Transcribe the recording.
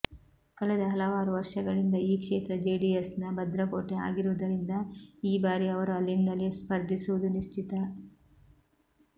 ಕಳೆದ ಹಲವಾರು ವರ್ಷಗಳಿಂದ ಈ ಕ್ಷೇತ್ರ ಜೆಡಿಎಸ್ ನ ಭದ್ರಕೋಟೆ ಆಗಿರುವುದರಿಂದ ಈ ಬಾರಿ ಅವರು ಅಲ್ಲಿಂದಲೇ ಸ್ಪರ್ಧಿಸುವುದು ನಿಶ್ಚಿತ